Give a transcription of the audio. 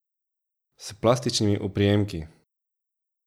S plastičnimi oprijemki.